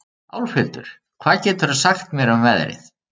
Álfhildur, hvað geturðu sagt mér um veðrið?